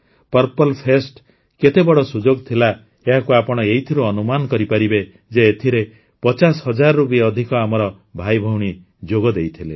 purple fest କେତେ ବଡ଼ ସୁଯୋଗ ଥିଲା ଏହାକୁ ଆପଣ ଏଇଥିରୁ ଅନୁମାନ କରିପାରିବେ ଯେ ଏଥିରେ ୫୦ ହଜାରରୁ ବି ଅଧିକ ଆମର ଭାଇଭଉଣୀ ଯୋଗଦେଇଥିଲେ